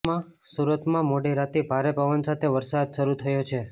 સુરતમાં મોડી રાતથી ભારે પવન સાથે વરસાદ શરૂ થયો છે